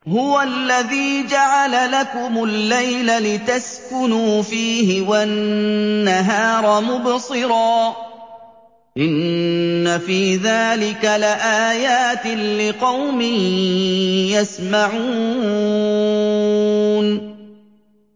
هُوَ الَّذِي جَعَلَ لَكُمُ اللَّيْلَ لِتَسْكُنُوا فِيهِ وَالنَّهَارَ مُبْصِرًا ۚ إِنَّ فِي ذَٰلِكَ لَآيَاتٍ لِّقَوْمٍ يَسْمَعُونَ